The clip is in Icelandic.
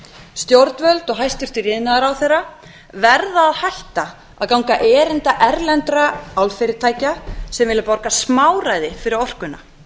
stjórnvöld og hæstvirtur iðnaðarráðherra verða að hætta að ganga erinda erlendra álfyrirtækja sem vilja borga smáræði fyrir orkuna